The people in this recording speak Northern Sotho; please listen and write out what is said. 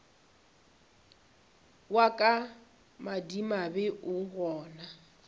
wa ka madimabe o gana